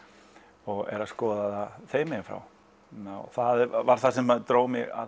og er að skoða það þeim meginn frá og það var það sem dró mig að